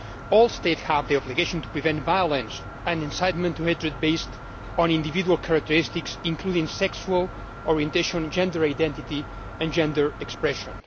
all states have the obligation to prevent violence and incitement to hatred based on individual characteristics including sexual orientation, gender identity and gender expression.